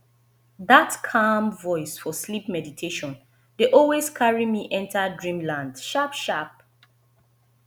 that calm voice for sleep meditation dey always carry me enter dreamland sharp sharp